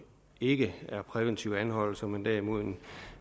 ikke er præventive anholdelser men derimod er